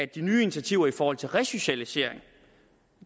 de nye initiativer i forhold til resocialisering